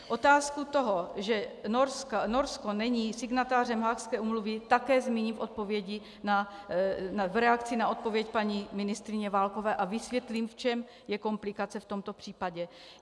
Otázku toho, že Norsko není signatářem Haagské úmluvy, také zmíním v reakci na odpověď paní ministryně Válkové a vysvětlím, v čem je komplikace v tomto případě.